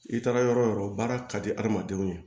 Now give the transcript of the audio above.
I taara yɔrɔ o yɔrɔ baara ka di hadamadenw ye